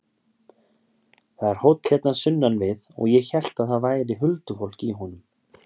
Það er hóll hérna sunnan við og ég hélt að það væri huldufólk í honum.